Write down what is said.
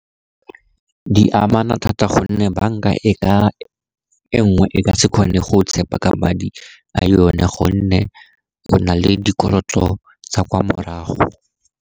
Di amana thata, gonne banka e nngwe e ka se kgone go go tshepa ka madi a yone, gonne go na le dikoloto tsa kwa morago.